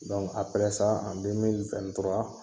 Dɔnku apɛrɛ sa an demili wɛn ni tura